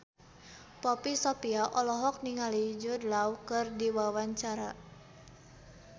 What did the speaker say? Poppy Sovia olohok ningali Jude Law keur diwawancara